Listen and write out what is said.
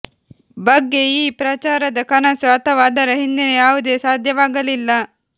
ಬಗ್ಗೆ ಈ ಪ್ರಚಾರದ ಕನಸು ಅಥವಾ ಅದರ ಹಿಂದಿನ ಯಾವುದೇ ಸಾಧ್ಯವಾಗಲಿಲ್ಲ